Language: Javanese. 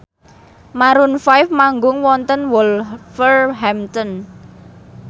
Maroon 5 manggung wonten Wolverhampton